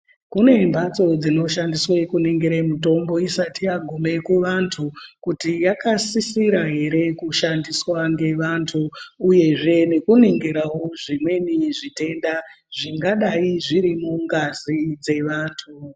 Kune mbatso dzino shandiswe ku ningere mitombo isati yagume ku vantu kuti yaka sisira ere ku shandiswa nge vantu uyezve ngeku ningirawo zvimweni zvitenda zvingadai zviri mu ngazi dze vantu.